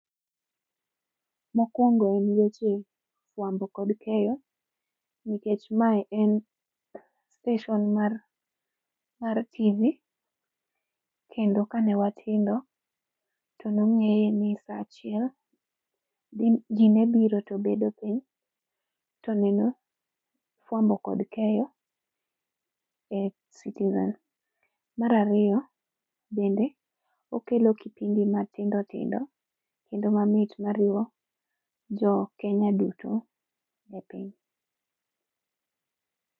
Mokuongo en weche fuambo kod keyo nikech mae en sitesen mar TV kendo kane watindo to ne wang'iye ni en saa achieng' to ji ne biro to bedo piny, to neno fuambo kod keyo e Citizen. Mar ariyo, bende okelo kipindi matindo tindo kendo mamit ma riwo jo Kenya duto e piny.